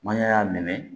N'an ya y'a minɛ